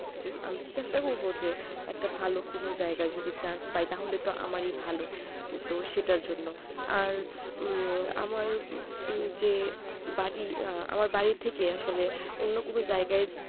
সবকিছুই আমি চেষ্টা করবো যে একটা ভালো কোনো জায়গায় যদি chance পাই তাহলে তো আমারই ভালো তো সেটার জন্য আর উহ আমার যে বাড়ি আমার বাড়ি থেকে আসলে অন্য কোনো জায়গায়